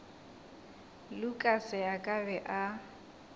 lukas a ka be a